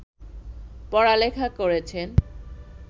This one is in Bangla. পড়া-লেখা করেছেন